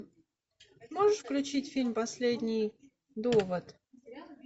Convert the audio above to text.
можешь включить фильм последний довод